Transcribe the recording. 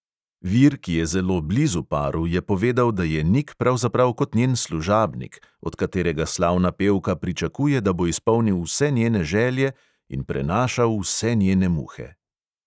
Vir, ki je zelo blizu paru, je povedal, da je nik pravzaprav kot njen služabnik, od katerega slavna pevka pričakuje, da bo izpolnil vse njene želje in prenašal vse njene muhe.